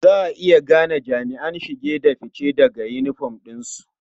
Za a iya gane jami'an shige da fice daga yinifom ɗinsu.